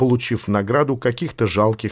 получив награду каких-то жалких